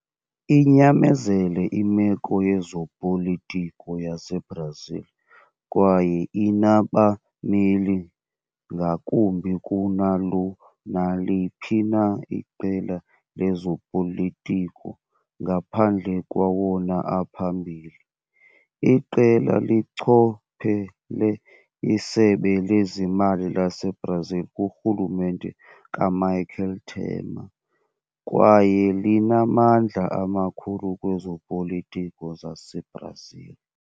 Inyamezele imeko yezopolitiko yaseBrazil, kwaye inabameli ngakumbi kunalo naliphi na iqela lezopolitiko ngaphandle kwawona aphambili. Iqela lichophele iSebe lezeMali laseBrazil kurhulumente kaMichel Temer, kwaye linamandla amakhulu kwezopolitiko zaseBrazil.